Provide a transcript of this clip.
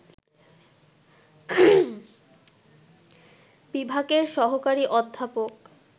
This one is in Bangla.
বিভাগের সহকারী অধ্যাপক